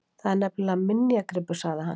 Þetta er nefnilega minjagripur- sagði hann svo.